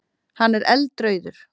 Hann er eldrauður.